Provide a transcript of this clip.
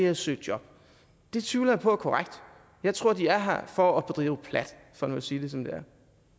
at søge job det tvivler jeg på er korrekt jeg tror de er her for at bedrive plat for nu at sige det som det